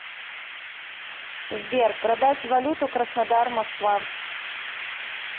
сбер продать валюту краснодар москва